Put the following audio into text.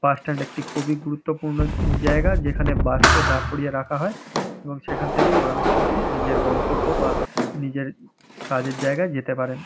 Bus stand একটি খুবই গুরুত্বপূর্ণ জায়গা যেখানে বাস কে দাঁড় করিয়ে রাখা হয় এবং সেখান থেকেই মানুষ ওঠে নিজের গন্তব্য বা নিজের কাজের জায়গায় যেতে পারেন।